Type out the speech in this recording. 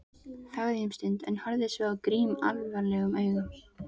Þagði um stund en horfði svo á Grím alvarlegum augum.